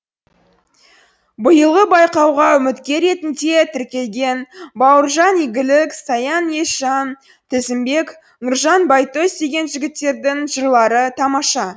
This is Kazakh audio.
биылғы байқауға үміткер ретінде тіркелген бауыржан игілік саян есжан тізімбек нұржан байтөс деген жігіттердің жырлары тамаша